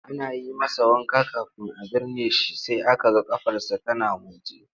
Ana yi masa wanka kafin a binne shi sai aka ga ƙafarsa tana motsi.